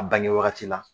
A bange wagati la